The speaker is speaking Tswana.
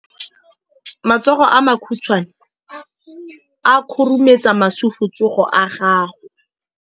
Matsogo a makhutshwane a khurumetsa masufutsogo a gago.